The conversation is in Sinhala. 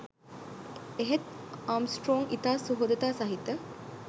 එහෙත් ආම්ස්ට්‍රෝං ඉතා සුහදතා සහිත